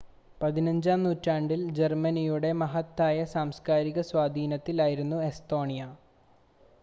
15-ാം നൂറ്റാണ്ടിൽ ജർമ്മനിയുടെ മഹത്തായ സാംസ്ക്കാരിക സ്വാധീനത്തിൽ ആയിരുന്നു എസ്തോണിയ